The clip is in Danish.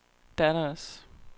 Dallas